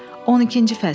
12-ci fəsil.